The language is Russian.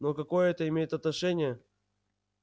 ну а какое это имеет отношение